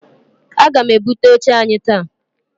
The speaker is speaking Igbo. Aga m ebute oche anyị taa.